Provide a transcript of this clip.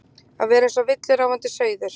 Að vera eins og villuráfandi sauður